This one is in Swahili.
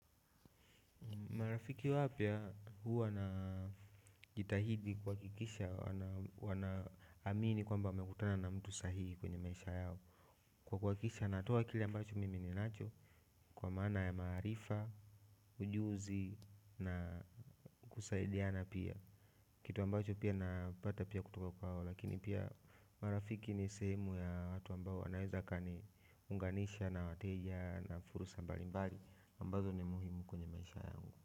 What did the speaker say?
Marafiki wapya huwa na jitahidi kuhakikisha wanaamini kwamba wamekutana na mtu sahihi kwenye maisha yao. Kwa kuhakikisha natoa kile ambacho mimi ninacho kwa maana ya maarifa, ujuzi na kusaidiana pia. Kitu ambacho pia napata pia kutoka kwao lakini pia marafiki ni sehemu ya watu ambao wanaeza wakaniunganisha na wateja na fursa mbalimbali ambazo ni muhimu kwenye maisha yangu.